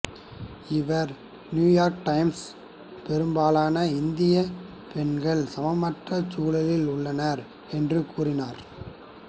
இவர் நியூயார்க் டைம்சிடம் பெரும்பாலான இந்திய பெண்கள் சமமற்ற சூழலில் உள்ளனர் என்று கூறினார்